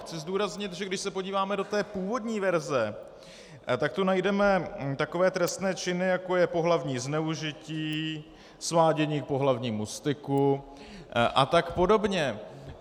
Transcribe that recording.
Chci zdůraznit, že když se podíváme do té původní verze, tak tu najdeme takové trestné činy, jako je pohlavní zneužití, svádění k pohlavnímu styku a tak podobně.